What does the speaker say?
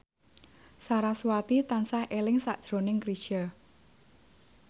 sarasvati tansah eling sakjroning Chrisye